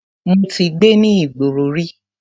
Mo ti gbé ní ìgboro rí.